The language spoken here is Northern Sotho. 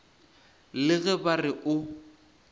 le ge ba re o